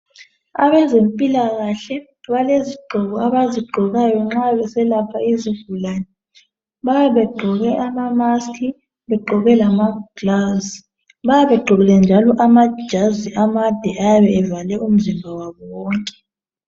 Abezempilakahle balezigqoko abazigqokayo nxa beselapha izigulani bayabe begqoke ama mask begqoke lama gilavisi bayabe begqokile njalo lamajazi amade ayabe evale umzimba wabo wonke